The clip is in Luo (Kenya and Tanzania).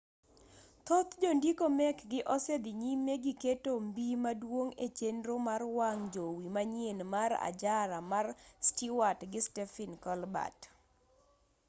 thoth jondiko mekgi osedhi nyime gi keto mbii maduong' e chenro mar wang' jowi manyien mar ajara mar stewart gi stephen colbert